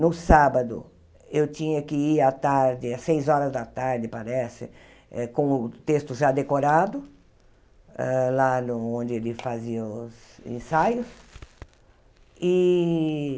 No sábado, eu tinha que ir à tarde, às seis horas da tarde, parece, eh com o texto já decorado, hã lá no onde eles faziam os ensaios e.